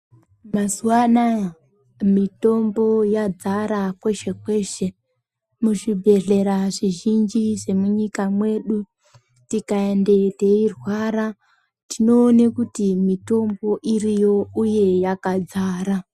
Mazuva anawa mitombo yazara kwese kwese muzvibhedhlera zvizhinji zvemunyika medu tikaendayo teirwara tinoona kuti mitombo iriyo uye yakadzara.